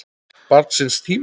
Barn síns tíma?